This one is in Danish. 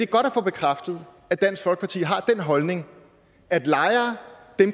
godt at få bekræftet at dansk folkeparti har den holdning at lejere